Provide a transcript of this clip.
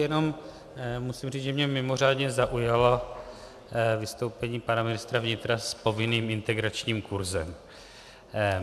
Jenom musím říct, že mě mimořádně zaujalo vystoupení pana ministra vnitra s povinným integračním kurzem.